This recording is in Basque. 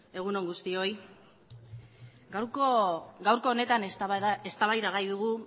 egun on guztioi gaurko honetan eztabaidagai dugu